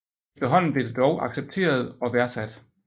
Efterhånden blev det dog accepteret og værdsat